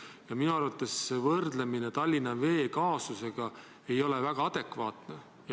Ja minu arvates ei ole võrdlus Tallinna Vee kaasusega väga adekvaatne.